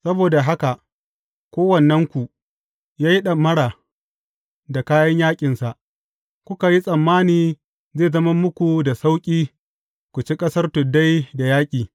Saboda haka kowannenku ya yi ɗamara da kayan yaƙinsa, kuka yi tsammani zai zama muku da sauƙi ku ci ƙasar tuddai da yaƙi.